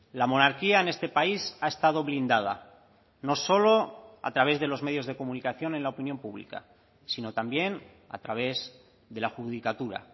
la monarquía en este país ha estado blindada no solo a través de los medios de comunicación en la opinión pública sino también a través de la judicatura